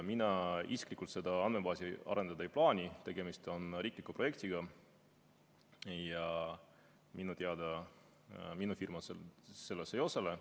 Mina isiklikult seda andmebaasi arendada ei plaani, tegemist on riikliku projektiga, ja minu teada minu firma selles ei osale.